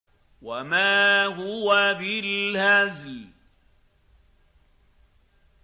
وَمَا هُوَ بِالْهَزْلِ